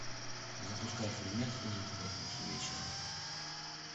запускай фильмец ужин в пятницу вечером